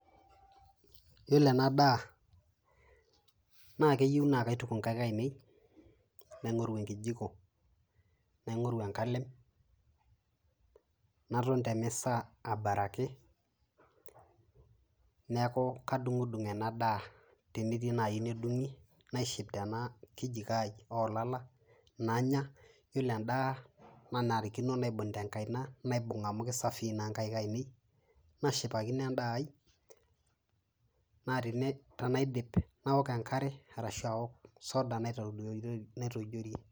Yielo ena ndaa naa keiyeu naa kaituuk enkaik einen naing'oruu enkijiko, naing'oruu enkaalem naton te mesa atabaaraki. Neeku kaidung'dung' ena ndaa tenetii naiyeu nedung'i naishiip tena nkijikoo o lala nanyaa. Yielo endaa nanarikino naibung' te nkaina naibung' amu kesafii naa enkaik ainen, naishipakino endaa ai. Naa tanaidiip naaok enkare arashu aaok soda naitojorie.